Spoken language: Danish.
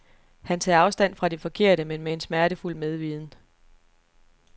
Han tager afstand fra de forkerte, men med en smertefuld medviden.